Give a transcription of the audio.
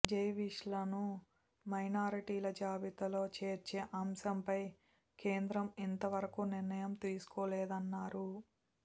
జేవిష్లను మైనారిటీల జాబితాలో చేర్చే అంశంపై కేంద్రం ఇంతవరకూ నిర్ణయం తీసుకోలేన్నారు